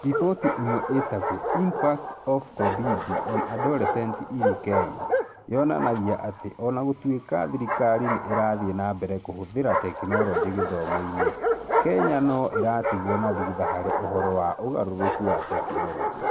Riboti ĩmwe ĩtagwo, ĩmpacts of cobindi on Adolescents in Kenya, yonanagia atĩ o na gũtuĩka thirikari nĩ ĩrathiĩ na mbere kũhũthĩra tekinolonjĩ gĩthomo-inĩ, Kenya no ĩratigwo na thutha harĩ ũhoro wa ũgarũrũku wa tekinolonjĩ.